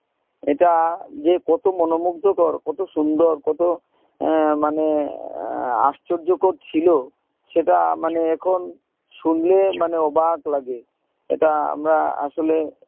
এটা যে কত মনোমুগ্ধকর কত সুন্দর কত আহ মানে আহ আশ্চর্যকর ছিলো সেটা মানে এখন শুনলে মানে অবাক লাগে এটা আমরা আসলে